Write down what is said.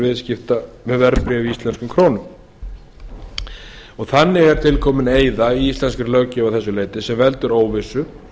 viðskipta með verðbréf í íslenskum krónum þannig er til komin eyða í íslenskri löggjöf að þessu leyti sem veldur óvissu